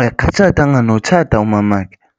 akatshatanga notshata umamakhe.